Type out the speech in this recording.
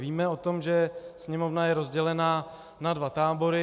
Víme o tom, že Sněmovna je rozdělená na dva tábory.